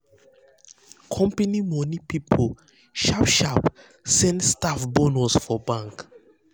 company money people sharp sharp send staff bonus for bank